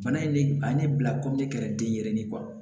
Fana ye ne a ye ne bila kɛra den yɛrɛ ni